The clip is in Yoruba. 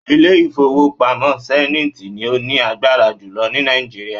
Ilé ìfowópamọ́ Zenith ni ó ní agbára jùlọ ni Nàìjíríà